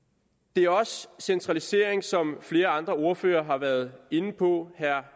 det er også centralisering som flere andre ordførere har været inde på herre